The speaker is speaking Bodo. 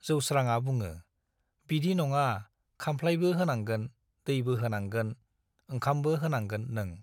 जौस्राङा बुङो, बिदि नङा खाम्फ्लाइबो होनांगोन, दैबो होनांगोन, ओंखामबो होनांगोन नों ।